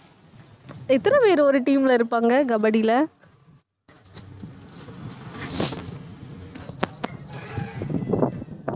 எத்தனை பேர் ஒரு team ல இருப்பாங்க கபடியில